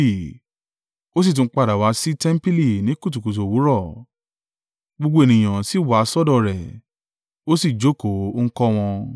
Ó sì tún padà wá sí tẹmpili ní kùtùkùtù òwúrọ̀, gbogbo ènìyàn sì wá sọ́dọ̀ rẹ̀; ó sì jókòó, ó ń kọ́ wọn.